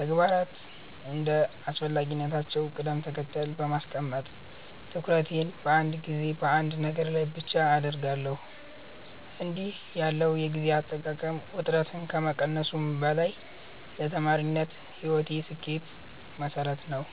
ተግባራትን እንደ አስፈላጊነታቸው ቅደም ተከተል በማስቀመጥ፣ ትኩረቴን በአንድ ጊዜ በአንድ ነገር ላይ ብቻ አደርጋለሁ። እንዲህ ያለው የጊዜ አጠቃቀም ውጥረትን ከመቀነሱም በላይ ለተማሪነት ሕይወቴ ስኬት መሠረት ነው።